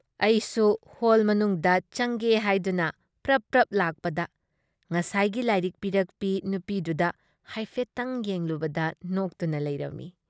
ꯑꯩꯁꯨꯨ ꯍꯣꯜ ꯃꯅꯨꯡꯗ ꯆꯪꯒꯦ ꯍꯥꯏꯗꯨꯅ ꯄ꯭ꯔꯞ ꯄ꯭ꯔꯞ ꯂꯥꯛꯄꯗ ꯉꯁꯥꯏꯒꯤ ꯂꯥꯏꯔꯤꯛ ꯄꯤꯔꯛꯄꯤ ꯅꯨꯄꯤꯗꯨꯗ ꯍꯥꯏꯐꯦꯠꯇꯪ ꯌꯦꯡꯂꯨꯕꯗ ꯅꯣꯛꯇꯨꯅ ꯂꯩꯔꯝꯃꯤ ꯫